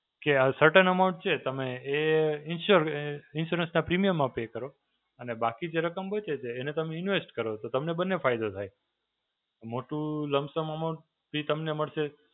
કે આ certain amount છે, તમે એ ઇન્સ્યોર આ ઇન્સ્યોરન્સનાં પ્રીમિયમમાં પે કરો અને બાકી જે રકમ બચે, તો એને તમે ઇન્વેસ્ટ કરો. તો તમને બંને ફાયદો થાય. મોટું લમ્પ સમ અમાઉન્ટ એ તમને મળશે.